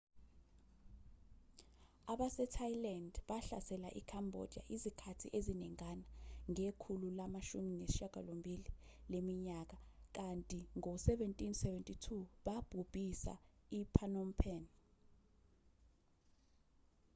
abasethailand bahlasele i-cambodia izikhathi eziningana ngekhulu lama-18 leminyaka kanti ngo-1772 babhubhisa i-phnom phen